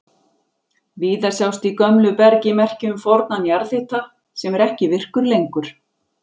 Víða sjást í gömlu bergi merki um fornan jarðhita sem er ekki virkur lengur.